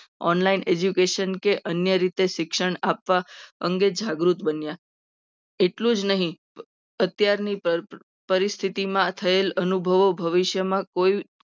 Online education કે અન્ય રીતે શિક્ષણ આપવા. અંગી જાગૃત બને એટલું જ નહીં. અત્યારની પરિસ્થિતિમાં થયેલ અનુભવો ભવિષ્યમાં કોઈ